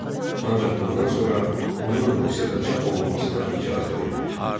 Ancaq bundan sonra onun Rusiyada çap olunmasına icazə verilir.